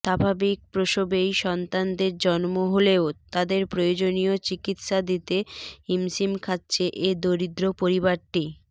স্বাভাবিক প্রসবেই সন্তাদের জন্ম হলেও তাদের প্রয়োজনীয় চিকিৎসা দিতে হিমশিম খাচ্ছে এ দরিদ্র পরিবারটি